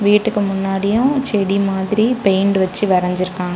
வீட்டுக்கு முன்னாடியும் செடி மாதிரி பெயிண்ட் வச்சி வரைஞ்சிருக்காங்க.